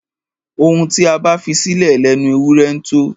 Ohun tí a bá fisílẹ̀ lẹnu ewúrẹ ńtó.